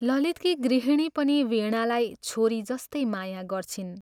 ललितकी गृहिणी पनि वीणालाई छोरी जस्तै माया गर्छिन्।